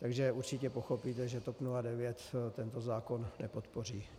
Takže určitě pochopíte, že TOP 09 tento zákon nepodpoří.